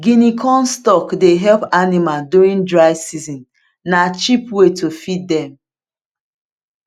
guinea corn stalk dey help animal during dry season na cheap way to feed dem